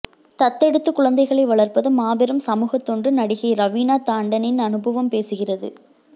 தத்தெடுத்து குழந்தைகளை வளர்ப்பது மாபெரும் சமூகத் தொண்டு நடிகை ரவீணா தாண்டனின் அனுபவம் பேசுகிறது